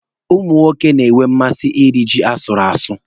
Ụmụ nwoke na-enwe mmasị iri ji asụrụ asụ.